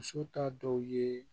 Muso ta dɔw ye